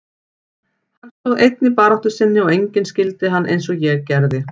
Hann stóð einn í baráttu sinni og enginn skildi hann eins og ég gerði.